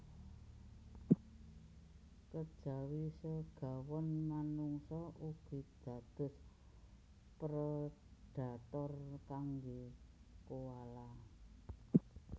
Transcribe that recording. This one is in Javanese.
Kejawi segawon manungsa ugi dados predhator kanggé koala